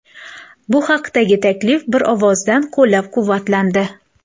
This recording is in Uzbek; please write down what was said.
Bu haqdagi taklif bir ovozdan qo‘llab-quvvatlandi.